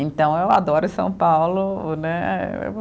Então eu adoro São Paulo, né?